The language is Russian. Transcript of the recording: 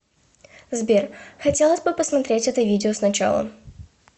сбер хотелось бы посмотреть это видео сначала